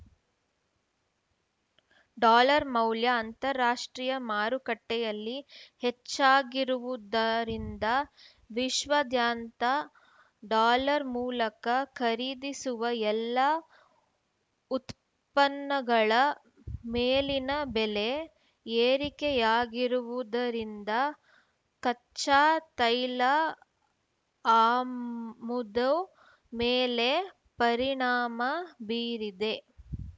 dollar ಮೌಲ್ಯ ಅಂತಾರಾಷ್ಟ್ರೀಯ ಮಾರುಕಟ್ಟೆಯಲ್ಲಿ ಹೆಚ್ಚಾಗಿರುವುದರಿಂದ ವಿಶ್ವದ್ಯಾಂತ ಡಾಲರ್‌ ಮೂಲಕ ಖರೀದಿಸುವ ಎಲ್ಲಾ ಉತ್ಪನ್ನಗಳ ಮೇಲಿನ ಬೆಲೆ ಏರಿಕೆಯಾಗಿರುವುದರಿಂದ ಕಚ್ಚಾ ತೈಲ ಆಮುದು ಮೇಲೆ ಪರಿಣಾಮ ಬೀರಿದೆ